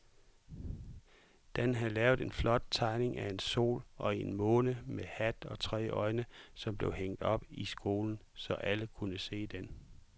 Dan havde lavet en flot tegning af en sol og en måne med hat og tre øjne, som blev hængt op i skolen, så alle kunne se den.